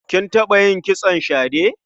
Kin taɓa yin kitson shade?